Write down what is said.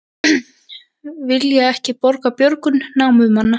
Vilja ekki borga björgun námumanna